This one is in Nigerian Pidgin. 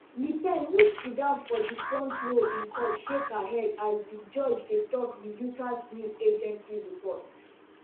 le pen who sit down for di front row in court shake her head as di judge dey tok reuters news agency report